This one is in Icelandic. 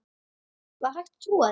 Var hægt að trúa því?